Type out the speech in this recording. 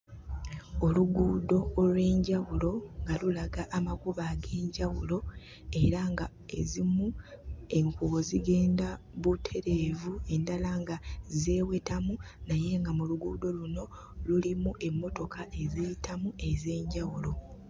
Oluguudo olw'enjawulo nga lulaga amakubo ag'enjawulo era ng'ezimu enkuubo zigenda butereevu, endala nga zeewetamu naye nga mu luguudo luno lulimu emmotoka eziyitamu ez'enjawulo.